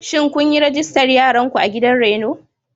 Shin kun yi rijistar yaranku a gidan raino?